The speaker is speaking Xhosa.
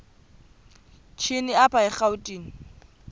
shini apho erawutini